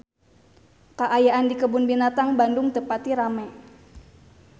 Kaayaan di Kebun Binatang Bandung teu pati rame